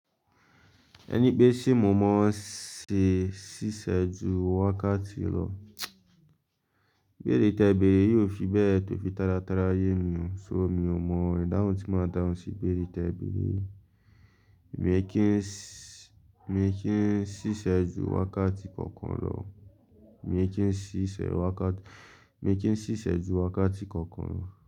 Ẹni pé ṣé mo mọ ọ́n ṣe ṣíṣẹ́ ju wákàtí lọ? Gbéri tẹbí yóò fi bẹ́ẹ̀ tó fi tálátalá yé mi, ṣó mi ò mọ ìdáhùn tí máa dáhùn sí ibere te bere yìí. Mi kí n ṣíṣe ju wákàtí kankan lọ. Mi kí n ṣíṣe wákàtí, mi kí n ṣíṣẹ́ ju wákàtí kankan lọ.